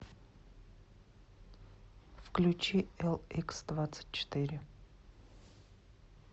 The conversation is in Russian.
включи эликсдвадцатьчетыре